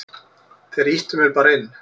Þeir ýttu mér bara inn.